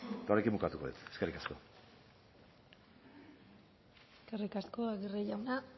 eta honekin bukatuko dut eskerrik asko eskerrik asko aguirre jauna